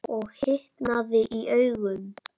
Og hitnaði í augum.